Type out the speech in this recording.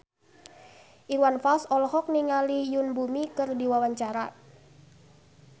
Iwan Fals olohok ningali Yoon Bomi keur diwawancara